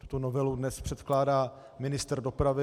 Tuto novelu dnes předkládá ministr dopravy.